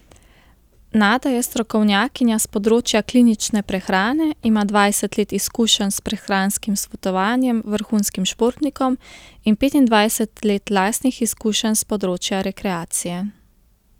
Nada je strokovnjakinja s področja klinične prehrane, ima dvajset let izkušenj s prehranskim svetovanjem vrhunskim športnikom in petindvajset let lastnih izkušenj s področja rekreacije.